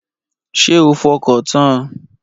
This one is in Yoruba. Ṣé o fọkàn tan an?